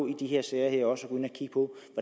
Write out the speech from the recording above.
i de her sager også at gå